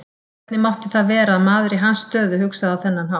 Hvernig mátti það vera að maður í hans stöðu hugsaði á þennan hátt?